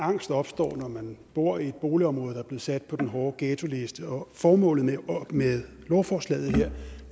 angst opstår når man bor i et boligområde der er blevet sat på den hårde ghettoliste og formålet med lovforslaget her